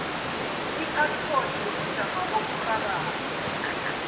iphaspoti yobujamo oburhabako